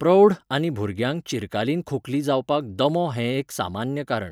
प्रौढ आनी भुरग्यांक चिरकालीन खोंकली जावपाक दमो हें एक सामान्य कारण.